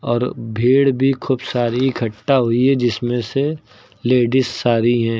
और भीड़ भी खूब सारी इकट्ठा हुई है जिसमें से लेडिस सारी हैं।